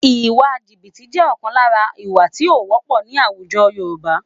Ìwà jìbìtì jẹ́ ọ̀kan lára ìwà tí ó wọ́pọ̀ ní àwùjọ Yorùbá